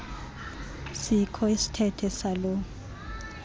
sikho isithethe saloo